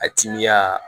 A timiya